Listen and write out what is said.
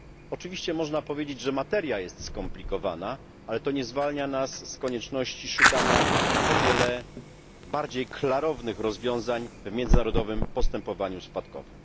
Oczywiście można powiedzieć, że materia jest skomplikowana, ale to nie zwalnia nas z konieczności szukania o wiele bardziej klarownych rozwiązań w międzynarodowym postępowaniu spadkowym.